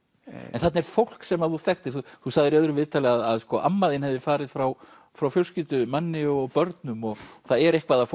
en þarna er fólk sem þú þekktir þú sagðir í öðru viðtali að amma þín hefði farið frá frá fjölskyldu manni og börnum það er eitthvað af